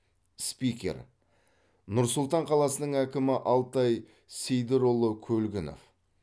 спикер нұр сұлтан қаласының әкімі алтай сейдірұлы көлгінов